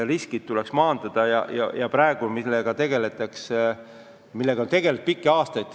Riskid tuleb maandada ja sellega on tegeletud pikki aastaid.